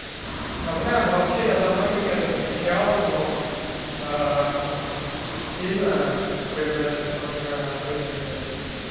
да бля ну вообще я за многими это замечал но аа сильно это проявляется только в родителях